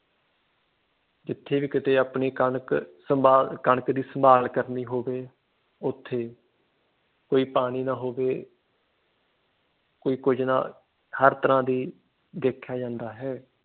ਜਿੱਥੇ ਵੀ ਕਿਤੇ ਕਣਕ ਸੰਭਾਲ ਕਣਕ ਦੀ ਸੰਭਾਲ ਕਰਨੀ ਹੋਵੇ ਉਥੇ ਕੋਈ ਪਾਣੀ ਨਾ ਹੋਵੇ ਕੋਈ ਕੁਛ ਨਾ ਹਰ ਤਰ੍ਹਾਂ ਦੀ ਦੇਖਿਆ ਜਾਂਦਾ ਹੈ।